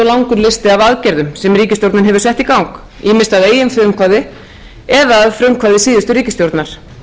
langur listi af aðgerðum sem ríkisstjórnin hefur sett í gang ýmist að eigin frumkvæði eða að frumkvæði síðustu ríkisstjórnar